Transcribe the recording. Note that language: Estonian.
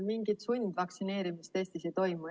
Mingit sundvaktsineerimist Eestis ei toimu.